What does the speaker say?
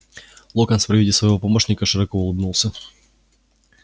локонс при виде своего помощника широко улыбнулся